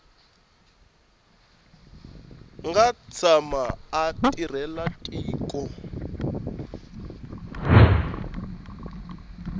nga tshama a tirhela tiko